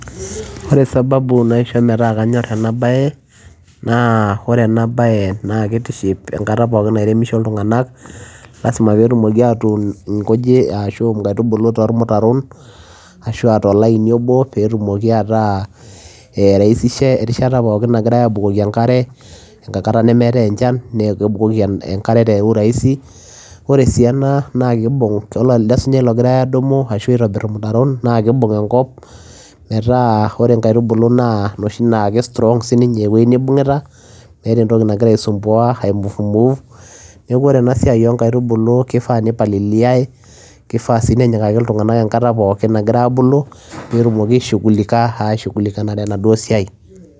Ore sababu naisho metaa kanyor ena baye naa ore ena baye naake itiship enkata pookin nairemisho iltung'anak lazima peetumoki aatun nkujit ashu nkaitubulu tormutaron ashu aa too laini obo peetumoki ataa ee iraisisha erishata pookin nagira aabukoki enkare, enkata nemeetai enchan nee kebukoki enkare te urahisi. Ore sii ena naake iibung' idolta elde sunyai logirai aadumu ashu aitobir irmutaron naake iibung enkop metaa ore inkaitubulu naa inoshi naake strong sininye ewuei nibung'ita meeta entki nagira aisumbua aimove move. Neeku ore ena siai oo nkaitubulu kifaa nipaliliai, kifaa sii nenyikaki iltung'anak enkata pookin nagira aabulu peetumoki aishughulika aishughulikanare enaduo siai.